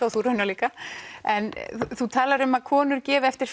og þú raunar líka en þú talar um að konur gefi eftir